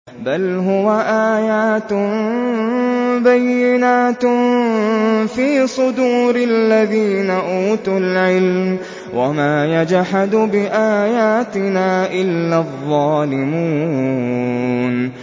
بَلْ هُوَ آيَاتٌ بَيِّنَاتٌ فِي صُدُورِ الَّذِينَ أُوتُوا الْعِلْمَ ۚ وَمَا يَجْحَدُ بِآيَاتِنَا إِلَّا الظَّالِمُونَ